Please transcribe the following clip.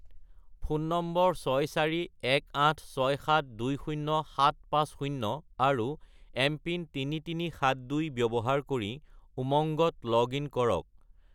Phone নম্বৰ 64186720750 আৰু MPIN 3372 ব্যৱহাৰ কৰি উমংগত লগ-ইন কৰক।